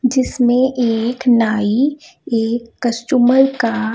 जिसने एक नाई एक कस्टमर का--